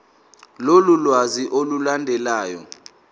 lolu lwazi olulandelayo